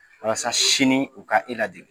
Walasa sini u ka e ladege.